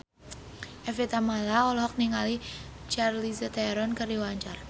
Evie Tamala olohok ningali Charlize Theron keur diwawancara